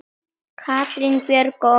Katrín Björg og Óskar.